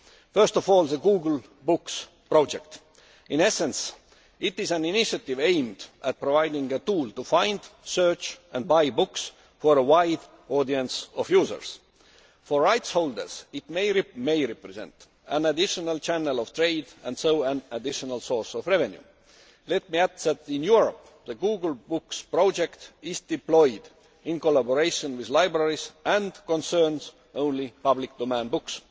First of all the Google Books Project. In essence, it is an initiative aimed at providing a tool to find, search and buy books for a wide audience of users. For rights holders, it may represent an additional channel of trade, and so an additional source of revenue. Let me add that in Europe, the Google Books Project is deployed in collaboration with libraries and concerns only public domain books.